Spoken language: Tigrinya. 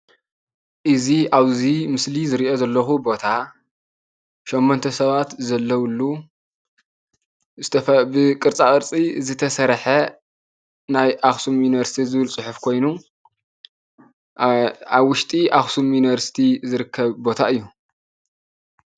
እዚ ኣብዚ ምስሊ ዝርእዮ ዘለኩ ቦታ ሸሞንተ ሰባት ዘለውሉ ብቕርጻቅርጺ ዝተሰርሓ ናይ ኣክሱም ዩኒቨርስቲ ዝብል ጽሑፍ ኮይኑ ኣብ ውሽጢ እክሱም ዩኑቨርስቲቲ ዝርከብ ቦታ እዩ።